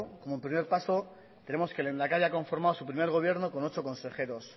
como primer paso tenemos que el lehendakari ha conformado su primer gobierno con ocho consejeros